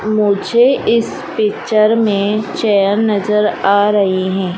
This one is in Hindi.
मुझे इस पिक्चर में चेयर नजर आ रही है।